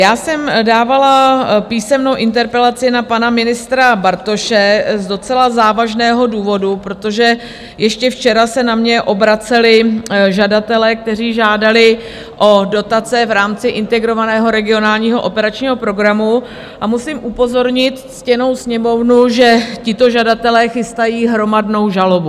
Já jsem dávala písemnou interpelaci na pana ministra Bartoše z docela závažného důvodu, protože ještě včera se na mě obraceli žadatelé, kteří žádali o dotace v rámci Integrovaného regionálního operačního programu, a musím upozornit ctěnou Sněmovnu, že tito žadatelé chystají hromadnou žalobu.